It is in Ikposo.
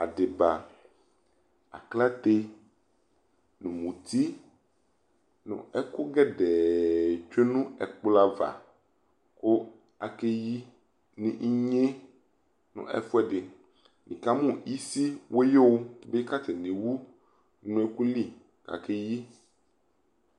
Adeba , aklate no muti no ɛku gɛdɛɛ tsue no ɛkplɔ ava ko ake yi no inye no ɛfuɛ de Nika no isi wuyu ka atane ewu no ɛku li kake yi